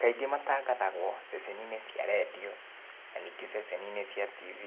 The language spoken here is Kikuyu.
Kaingĩ matangathagwo ceceni-inĩ cia redio, na ningĩ ceceni-inĩ cia TV,